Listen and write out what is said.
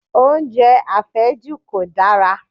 Oúnjẹ àfẹ́jù kò dára